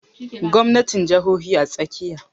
Gwamnatin jahohi a tsakiya